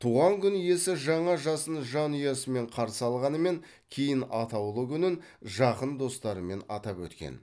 туған күн иесі жаңа жасын жанұясымен қарсы алғанымен кейін атаулы күнін жақын достарымен атап өткен